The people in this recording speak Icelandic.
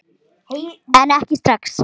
En ekki strax.